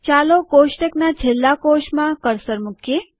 ચાલો કોષ્ટક ના છેલ્લા કોષમાં કર્સર મુકીએ